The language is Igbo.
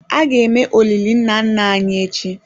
A ga-eme olili nna nna anyị echi?